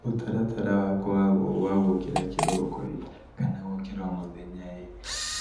Mũtaratara wakwa wa wa gũkĩra kĩroko-ĩ, kana gũkĩra o mũthenya-ĩ,